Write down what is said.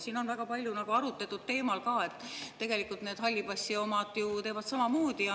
Siin on väga palju arutletud ka sel teemal, et tegelikult teevad need halli passi omad ju samamoodi.